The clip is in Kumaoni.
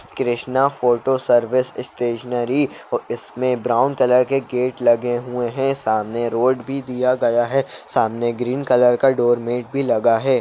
कृष्ण फोटो सर्विस स्टेशनरी और इसमे ब्राउन कॉलर के गेट लगे हुए हैं सामने रोड भी दिया गया है सामने ग्रीन कलर के डोरमेट भी लगा है।